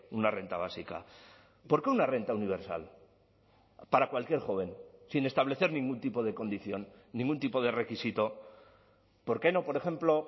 una renta básica por qué una renta universal para cualquier joven sin establecer ningún tipo de condición ningún tipo de requisito por qué no por ejemplo